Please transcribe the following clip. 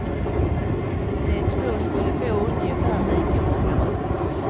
De två skulle få ungefär lika många röster.